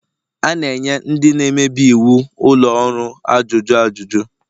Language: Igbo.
A na-enye ndị na-emebi iwu ụlọ ọrụ ajụjụ ajuju